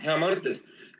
Hea Mart!